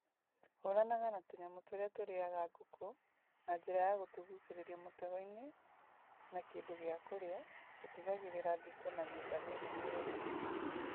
Hũranaga na tũnyamũ tũrĩa tũrĩaga ngũkũ na njĩra ya gũtũgucĩrĩria mũtego-inĩ na kĩndũ gĩa kũrĩa , gũtigagĩrĩra thingo na nyũmba nĩ nũmu wega.